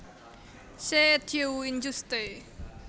Ce Dieu injuste